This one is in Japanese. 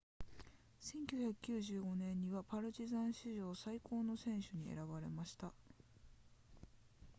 1995年にはパルチザン史上最高の選手に選ばれた